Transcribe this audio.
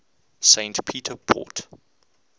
st peter port